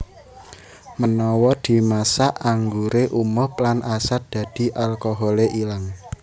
Menawa dimasak angguré umob lan asat dadi alkoholé ilang